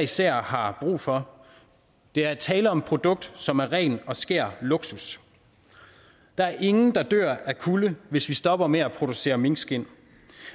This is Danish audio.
især har brug for der er tale om et produkt som er ren og skær luksus der er ingen der dør af kulde hvis vi stopper med at producere minkskind